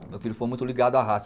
Meu filho foi muito ligado à raça.